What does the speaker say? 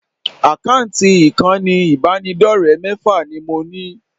Àkáǹtì ìkànnì ìbánidọ́rẹ̀ẹ́ mẹ́fà ni mo ní